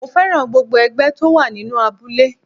Mo féràn gbogbo ẹgbẹ́ tó wà nínú abúlé.